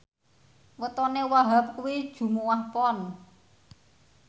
wetone Wahhab kuwi Jumuwah Pon